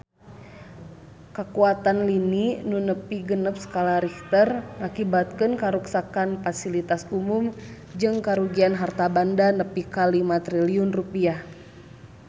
Kakuatan lini nu nepi genep skala Richter ngakibatkeun karuksakan pasilitas umum jeung karugian harta banda nepi ka 5 triliun rupiah